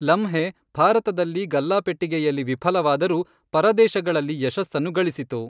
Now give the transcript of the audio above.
ಲಮ್ಹೇ ಭಾರತದಲ್ಲಿ ಗಲ್ಲಾಪೆಟ್ಟಿಗೆಯಲ್ಲಿ ವಿಫಲವಾದರೂ ಪರದೇಶಗಳಲ್ಲಿ ಯಶಸ್ಸನ್ನು ಗಳಿಸಿತು.